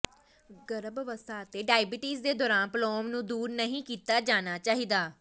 ਗਰਭ ਅਵਸਥਾ ਅਤੇ ਡਾਇਬੀਟੀਜ਼ ਦੇ ਦੌਰਾਨ ਪਲੌਮ ਨੂੰ ਦੂਰ ਨਹੀਂ ਕੀਤਾ ਜਾਣਾ ਚਾਹੀਦਾ